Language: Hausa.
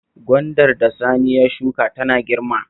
Gwandar da Sani ya shuka tana girma